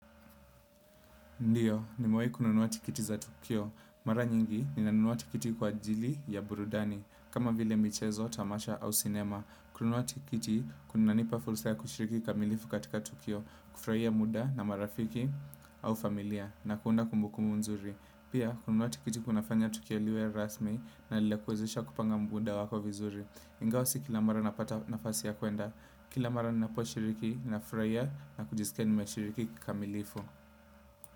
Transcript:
Ndiyo, nimewahi kununuwa tikiti za tukio. Mara nyingi, ninanunua tikiti kwa ajili ya burudani, kama vile michezo, tamasha au sinema. Kununuwa tikiti, kunanipa fursa kushiriki kamilifu katika tukio, kufurahia muda na marafiki, au familia, na kuunda kumbukumbu nzuri. Pia, kununua tikiti kunafanya tukio liwe rasmi, na linakuezesha kupanga muda wako vizuri. Ingawa si kila mara napata nafasi ya kuenda. Kila mara napo shiriki, na furahia na kujiskia nime shiriki kikamilifu.